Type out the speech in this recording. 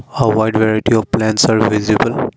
a wide variety of plans are visible.